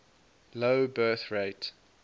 low birth rate